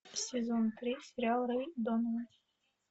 сезон три сериал рэй донован